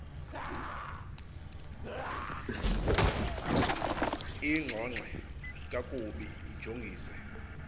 ingxongxe kakubi ijongise